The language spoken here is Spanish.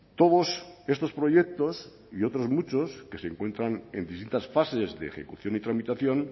todos estos proyectos y otros muchos que se encuentran en distintas fases de ejecución y tramitación